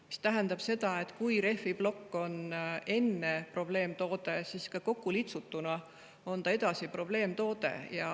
See tähendab seda, et kui rehviplokk oli enne probleemtoode, siis ka kokkulitsutuna on ta edasi probleemtoode.